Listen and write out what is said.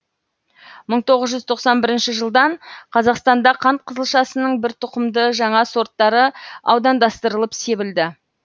мың тоғыз жүз тоқсан бірінші жылдан қазақстанда қант қызылшасының бір тұқымды жаңа сорттары аудандастырылып себілді